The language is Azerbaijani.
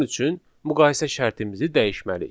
Bunun üçün müqayisə şərtimizi dəyişməliyik.